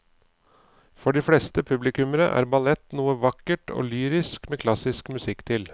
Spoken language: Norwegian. For de fleste publikummere er ballett noe vakkert og lyrisk med klassisk musikk til.